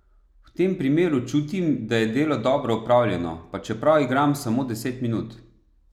V tem primeru čutim, da je delo dobro opravljeno, pa čeprav igram samo deset minut.